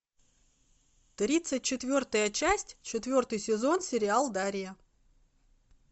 тридцать четвертая часть четвертый сезон сериал дарья